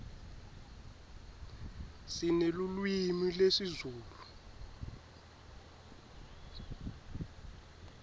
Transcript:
sinelulwimi lezulu